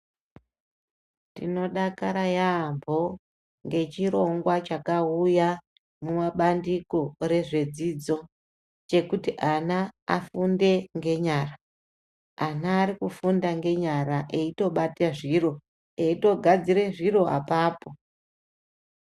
Tinodakara yaambo ngechirongwa chakauya mumabandiko rezvedzidzo. Chekuti ana afunde ngenyara ana arikufunda ngenyara eitobata zviro eitogadzire zviro apapo.